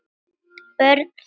Börn þeirra.